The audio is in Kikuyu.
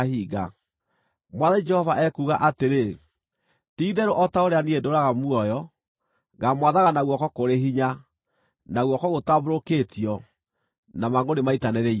Mwathani Jehova ekuuga atĩrĩ: Ti-itherũ o ta ũrĩa niĩ ndũũraga muoyo, ngaamwathaga na guoko kũrĩ hinya, na guoko gũtambũrũkĩtio, na mangʼũrĩ maitanĩrĩirio.